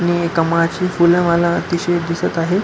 आणि कमळाची फूल मला अतिशय दिसत आहे.